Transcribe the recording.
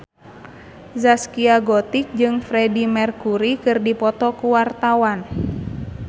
Zaskia Gotik jeung Freedie Mercury keur dipoto ku wartawan